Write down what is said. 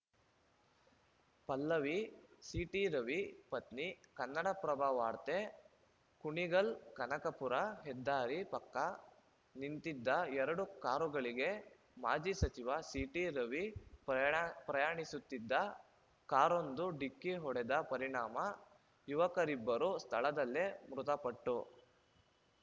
ಪಲ್ಲವಿ ಸಿಟಿರವಿ ಪತ್ನಿ ಕನ್ನಡಪ್ರಭ ವಾರ್ತೆ ಕುಣಿಗಲ್‌ಕನಕಪುರ ಹೆದ್ದಾರಿ ಪಕ್ಕ ನಿಂತಿದ್ದ ಎರಡು ಕಾರುಗಳಿಗೆ ಮಾಜಿ ಸಚಿವ ಸಿಟಿ ರವಿ ಪ್ರಯಾಣ ಪ್ರಯಾಣಿಸುತ್ತಿದ್ದ ಕಾರೊಂದು ಡಿಕ್ಕಿ ಹೊಡೆದ ಪರಿಣಾಮ ಯುವಕರಿಬ್ಬರು ಸ್ಥಳದಲ್ಲೇ ಮೃತಪಟ್ಟು